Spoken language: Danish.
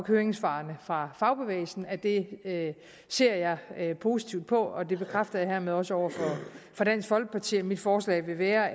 høringssvarene fra fagbevægelsen at det ser jeg positivt på det bekræfter jeg hermed også over for dansk folkeparti og mit forslag vil være